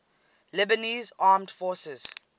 lebanese armed forces